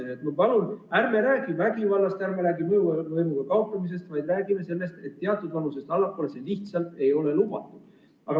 Nii et ma palun, ärme räägime vägivallast, ärme räägime mõjuvõimu, vaid räägime sellest, et teatud vanusest nooremate puhul see lihtsalt ei ole lubatud.